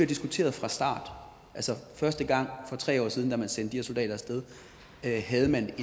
diskuteret fra starten altså første gang for tre år siden da man sendte de her soldater af sted havde man